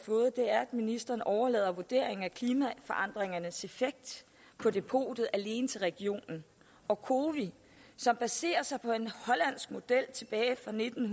ministeren overlader vurderingen af klimaforandringernes effekt på depotet alene til regionen og cowi som baserer sig på en hollandsk model tilbage fra nitten